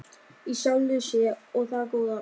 í sjálfri sér- og það góða.